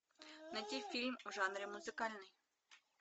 найти фильм в жанре музыкальный